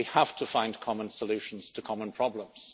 We have to find common solutions to common problems.